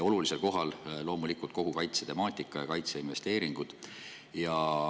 Olulisel kohal on loomulikult kogu kaitsetemaatika ja kaitseinvesteeringud.